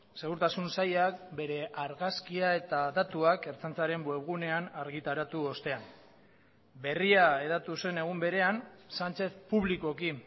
segurtasun sailak bere argazkia eta datuak ertzaintzaren webgunean argitaratu ostean berria hedatu zen egun berean sánchez publikoki